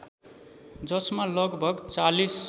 जसमा लगभग ४०